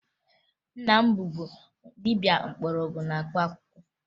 Nna m bụbu dibia mgbọrọgwụ na mkpaakwụkwọ